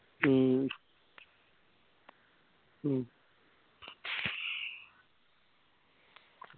മ്മ്